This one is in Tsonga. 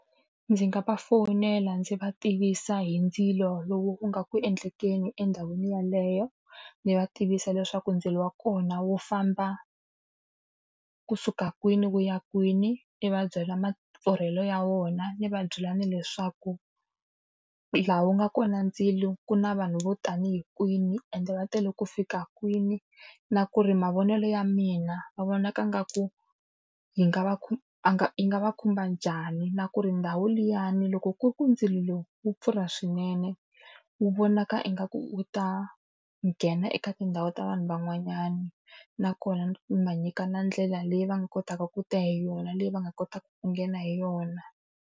Ndzi nga va fowunela ndzi va tivisa hi ndzilo lowu wu nga ku endlekekeni endhawini yeleyo. Ndzi va tivisa leswaku ndzilo wa kona wu famba kusuka kwini wu ya kwini, ni va byalwa mapfurhele ya wona, ni va byela na leswaku laha wu nga kona ndzilo ku na vanhu vo tanihi kwini ende va tele ku fika kwini. Na ku ri mavonelo ya mina va vonaka ingaku yi nga va a nga yi nga va khumba njhani, na ku ri ndhawu liyani loko ku ri ku ndzilo wu pfurha swinene, wu vonaka ingaku wu ta nghena eka tindhawu ta vanhu van'wanyana. Nakona ni va nyika na ndlela leyi va nga kotaka ku ta hi yona, leyi va nga kotaka ku nghena hi yona.